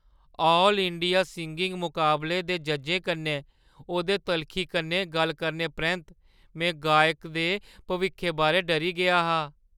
All India singing मुकाबले दे जज्जें कन्नै ओह्दे तलखी कन्नै गल्ल करने परैंत में गायक दे भविक्खै बारै डरी गेआ हा।